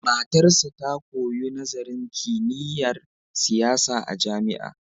Matarsa ta koyo nazarin kimiyyar siyasa a jami'a.